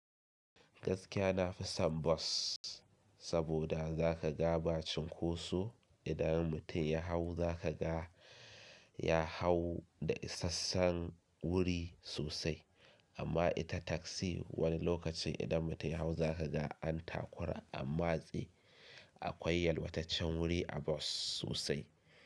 Gaskiya na fi son bus saboda za ka ga ba cunkoso idan mutum ya hau za ka ga ya hau da isasshen wuri sosai amma ita taksi wani lokaci idan mutum ya hau za ka ga an takura ammatse akwai yalwataccen wuri a bus sosai.